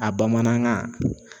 A bamanankan